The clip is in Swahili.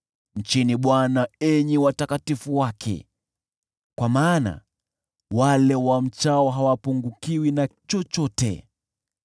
Mcheni Bwana enyi watakatifu wake, kwa maana wale wamchao hawapungukiwi na chochote.